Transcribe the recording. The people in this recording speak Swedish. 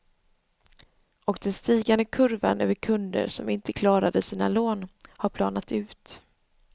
Och den stigande kurvan över kunder som inte klarade sina lån har planat ut.